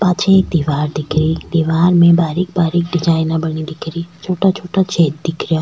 पाछे एक दिवार दिखे री दिवार में बारीक़ बारीक़ डिजाइना बनी दिखे री छोटा छोटा छेद दिख रिया।